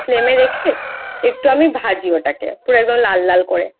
Flame এ রেখে একটু আমি ভাজি তাকে লাল লাল করে